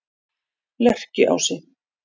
Lerkiási